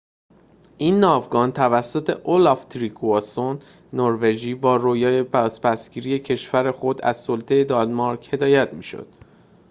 این ناوگان توسط اولاف تریگواسون نروژی با رویای بازپس گیری کشور خود از سلطه دانمارک هدایت می شد